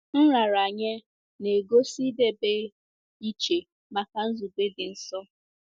Nraranye na-egosi idebe iche maka nzube dị nsọ.